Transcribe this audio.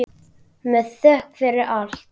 Með þökk fyrir allt.